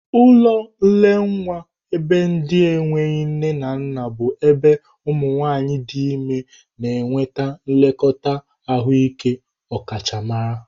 Ụlọ nne nwa ebe ndị enweghi nne na nna bụ ebe ụmụ nwanyị dị ime na enweta nlekọta ahụike ọkachamara.